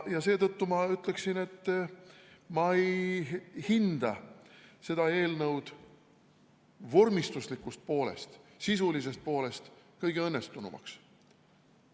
Ja seetõttu ma ütlen, et ma ei hinda seda eelnõu vormistusliku poole pealt, sisulise poole pealt kõige õnnestunumaks.